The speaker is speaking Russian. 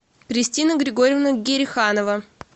кристина григорьевна гериханова